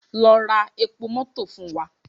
Lọ ra epo mọto fun wa!